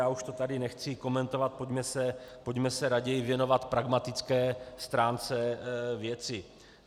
Já už to tady nechci komentovat, pojďme se raději věnovat pragmatické stránce věci.